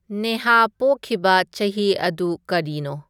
ꯅꯦꯍꯥ ꯄꯣꯛꯈꯤꯕ ꯆꯍꯤ ꯑꯗꯨ ꯀꯔꯤꯅꯣ